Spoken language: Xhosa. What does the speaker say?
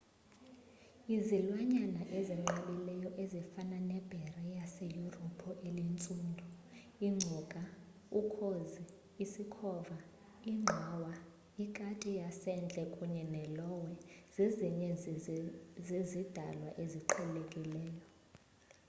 izilwanyana ezinqabileyo ezifana nebhere laseyurophu elintsundu iingcuka ukhozi isikhova ingqawa ikati yasendle kunye ne-lowe zezinye zezidalwa eziqhelekileyo